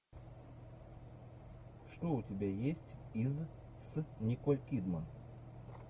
что у тебя есть из с николь кидман